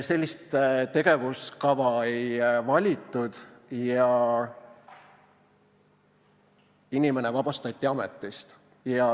Sellist tegevuskava ei valitud ja inimene vabastati ametist.